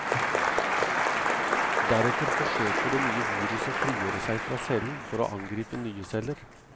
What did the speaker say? Deretter forsøker det nye viruset å frigjøre seg fra cellen, for å angripe nye celler.